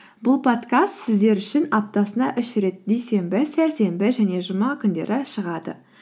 бұл подкаст сіздер үшін аптасына үш рет дүйсенбі сәрсенбі және жұма күндері шығады